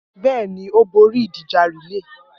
Bẹ́ẹ̀ ni, ó borí ìdíje relay